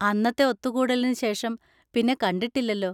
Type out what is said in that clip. അന്നത്തെ ഒത്തുകൂടലിന് ശേഷം പിന്നെ കണ്ടിട്ടില്ലല്ലോ.